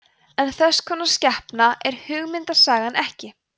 en þess konar skepna er hugmyndasagan ekki